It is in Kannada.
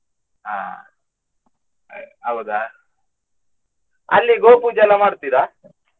ಅಹ್ ಹೌದಾ ಅಲ್ಲಿ ಗೋಪೂಜೆಯಲ್ಲ ಮಾಡ್ತೀರಾ?